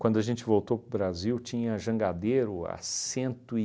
Quando a gente voltou para o Brasil, tinha jangadeiro há cento e...